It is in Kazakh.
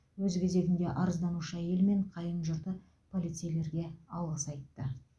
өз кезегінде арызданушы әйел мен қайын жұрты полицейлерге алғыс айтты